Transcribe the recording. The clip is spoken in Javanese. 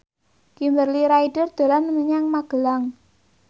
Kimberly Ryder dolan menyang Magelang